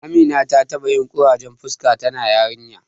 Amina ta taɓa yin ƙurajen fuska tana yarinya.